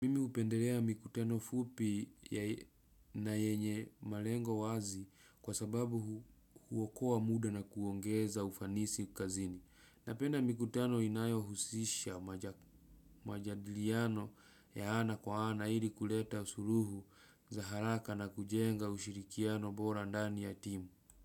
Mimi hupendelea mikutano fupi na yenye malengo wazi kwa sababu huokoa muda na kuongeza ufanisi kazini. Napenda mikutano inayo husisha majadiliano ya ana kwa ana ili kuleta suluhu za haraka na kujenga ushirikiano bora ndani ya timu.